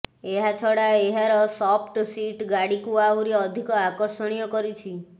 ଏହାଛଡା ଏହାର soft seat ଗାଡିକୁ ଆହୁରି ଅଧିକ ଆକର୍ଷଣୀୟ କରିଛି